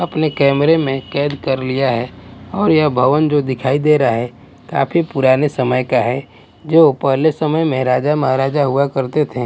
अपने कैमरे में कैद कर लिया है और यह भवन जो दिखाई दे रहा है काफी पुराने समय का है जो पहले समय में राजा महाराजा हुआ करते थे।